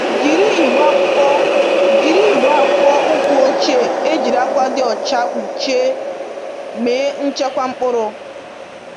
Jiri igbe akpụkpọ Jiri igbe akpụkpọ ụkwụ ochie e jiri akwa dị ọcha kpụchie mee nchekwa mkpụrụ